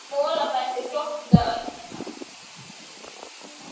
Molaberg er flokkað á ýmsan hátt.